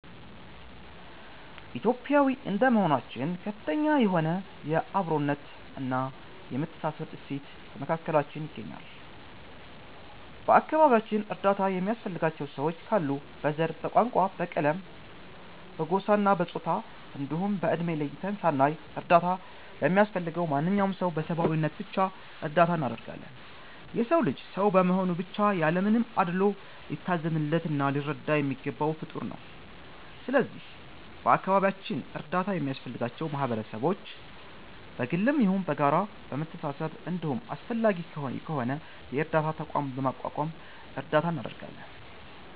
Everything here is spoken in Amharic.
ኢትዮጲያዊ እንደመሆናችን ከፍተኛ የሆነ የ አብሮነት እና የመተሳሰብ እሴት በመካከላችን ይገኛል። በ አከባቢያችን እርዳታ የሚያስፈልጋቸው ሰዎች ካሉ በ ዘር፣ በቋንቋ፣ በቀለም፣ በጎሳ፣ በፆታ እንዲሁም በ እድሜ ለይተን ሳናይ እርዳታ ለሚያስፈልገው ማንኛውም ሰው በ ሰብዓዊነት ብቻ እርዳታ እናደርጋለን። የ ሰው ልጅ ሰው በመሆኑ ብቻ ያለ ምንም አድሎ ሊታዘንለት እና ሊረዳ የሚገባው ፍጠር ነው። ስለዚህ በ አካባቢያችን እርዳታ ለሚያስፈልጋቸው ማህበረሰቦች በ ግልም ይሁን በጋራ በመሰባሰብ እንዲሁም አስፈላጊ ከሆነ የ እርዳታ ተቋምም በማቋቋም እርዳታ እናደርጋለን።